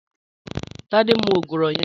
Tade mú ógúrọ̀ yèn